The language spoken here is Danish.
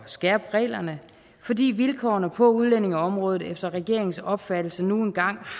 skærpe reglerne fordi vilkårene på udlændingeområdet efter regeringens opfattelse nu engang